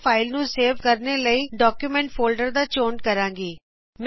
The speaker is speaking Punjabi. ਮੈ ਫਾਇਲ ਨੂੰ ਸੇਵ ਕਰਨੇ ਲਈ ਡਾਕਯੂਮੈਂਟ ਫੋਲਡਰ ਦਾ ਚੋਣ ਕਰਾਂਗੀ